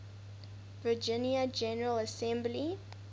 virginia general assembly